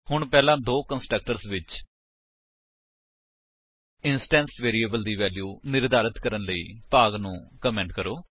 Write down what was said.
ਹੁਣ ਪਹਿਲਾਂ ਦੋ ਕੰਸਟਰਕਟਰਸ ਵਿੱਚ ਇੰਸਟੈਂਸ ਵੇਰਿਏਬਲਸ ਦੀ ਵੇਲਿਊ ਨਿਰਧਾਰਤ ਕਰਨ ਲਈ ਭਾਗ ਨੂੰ ਕਮੇਂਟ ਕਰੋ